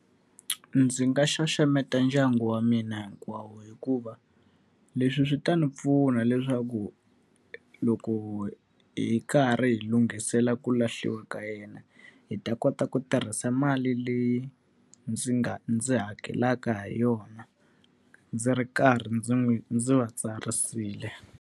Ndzi nga xaxameta ndyangu wa mina hinkwawo hikuva, leswi swi ta ni pfuna leswaku loko hi karhi hi lunghisela ku lahliwa ka yena, hi ta kota ku tirhisa mali leyi ndzi nga ndzi hakelaka ha yona, ndzi ri karhi ndzi n'wi ndzi va tsarisile.